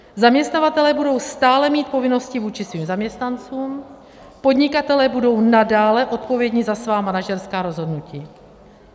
Zaměstnavatelé budou stále mít povinnosti vůči svým zaměstnancům, podnikatelé budou nadále odpovědní za svá manažerská rozhodnutí.